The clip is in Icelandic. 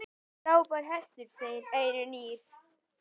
Frábær hestur, segir Eyrún Ýr.